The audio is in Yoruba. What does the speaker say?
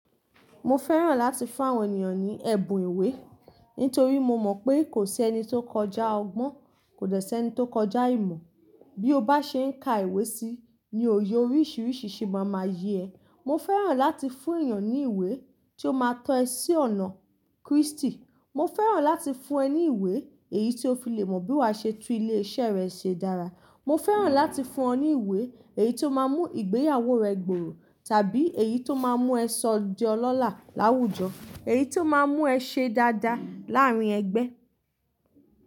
Mo fẹ́ràn láti fún àwọn ènìyàn ní ẹ̀bùn ìwé, nítorí mo mọ̀ pé kò sí ẹni tó kọjá ọgbọ́n, kò dẹ́ sẹ́ ẹni tó kọjá ìmọ̀. Bí o bá ṣe ń ka ìwé síi ni o ye oríṣiríṣi ṣe máa ma yé ẹ. Mo fẹ́ràn láti fún èyàn ní ìwé tí ó máa tọ́ ẹ sí ọ̀nà Kristi. Mo fẹ́ràn láti fún ẹ ní ìwé èyí tí ó fi lè mọ̀ bí wá ṣe tú ilé iṣẹ́ rẹ ṣe dára. Mo fẹ́ràn láti fún ẹ ní ìwé èyí tó máa mú ìgbéyàwó rẹ gbòòrò, tàbí èyí tó máa mú ẹ sọ di ọlọ́lá láwùjọ. Èyí tó máa mú ẹ ṣe dáadáa láàárín ẹgbẹ́.